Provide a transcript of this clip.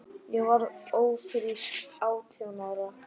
Ég varð ófrísk átján ára.